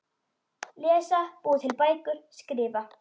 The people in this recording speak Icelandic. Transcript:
Lesa- búa til bækur- skrifa